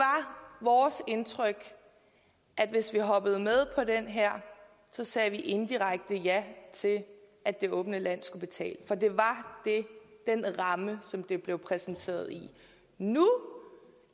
vores indtryk at hvis vi hoppede med på det her sagde vi indirekte ja til at det åbne land skulle betale for det var den ramme som det blev præsenteret i nu